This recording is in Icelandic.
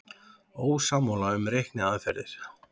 Ósammála um reikniaðferðir